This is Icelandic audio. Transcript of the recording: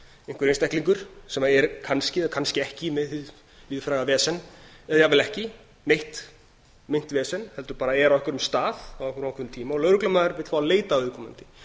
einhver einstaklingur sem er kannski eða kannski ekki með hið víðfræga vesen eða jafnvel ekki meint vesen heldur bara er á einhverjum stað á einhverjum ákveðnum tíma og lögreglumaður vill fá að leita á viðkomandi